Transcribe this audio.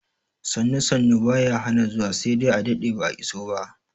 Sannu sannu baya hana zuwa sai dai a daɗe ba'a iso ba